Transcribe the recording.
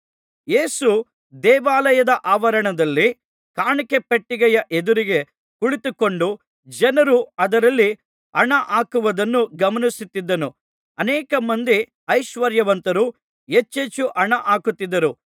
ಯೇಸು ದೇವಾಲಯದ ಆವರಣದಲ್ಲಿ ಕಾಣಿಕೆ ಪೆಟ್ಟಿಗೆಯ ಎದುರಿಗೆ ಕುಳಿತುಕೊಂಡು ಜನರು ಅದರಲ್ಲಿ ಹಣ ಹಾಕುವುದನ್ನು ಗಮನಿಸುತ್ತಿದ್ದನು ಅನೇಕ ಮಂದಿ ಐಶ್ವರ್ಯವಂತರು ಹೆಚ್ಚೆಚ್ಚು ಹಣ ಹಾಕುತ್ತಿದ್ದರು